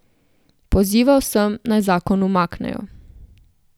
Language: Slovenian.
Pozival sem, naj zakon umaknejo.